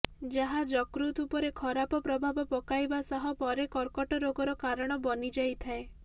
ଯାହା ଯକୃତ ଉପରେ ଖରାପ ପ୍ରଭାବ ପକାଇବା ସହ ପରେ କର୍କଟ ରୋଗର କାରଣ ବନି ଯାଇଥାଏ